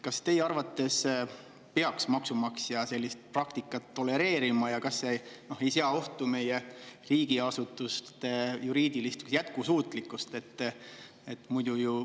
Kas teie arvates peaks maksumaksja sellist praktikat tolereerima ja kas see ei sea ohtu meie riigiasutuste juriidilist jätkusuutlikkust?